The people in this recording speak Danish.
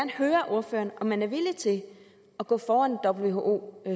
høre ordføreren om man er villig til at gå foran who